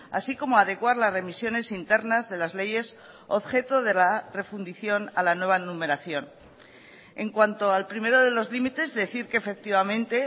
así como adecuar las remisiones internas de las leyes objeto de la refundición a la nueva numeración en cuanto al primero de los límites decir que efectivamente